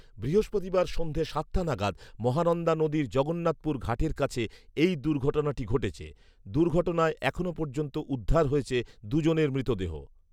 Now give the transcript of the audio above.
বৃহস্পতিবার সন্ধে সাতটা নাগাদ মহানন্দা নদীর জগন্নাথপুর ঘাটের কাছে এই দুর্ঘটনাটি ঘটেছে৷ দুর্ঘটনায় এখনও পর্যন্ত উদ্ধার হয়েছে দু’জনের মৃতদেহ৷